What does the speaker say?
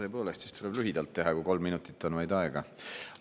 Tõepoolest, siis tuleb lühidalt teha, kui vaid kolm minutit on aega.